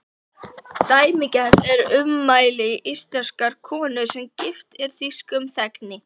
Dæmigerð eru ummæli íslenskrar konu, sem gift er þýskum þegni.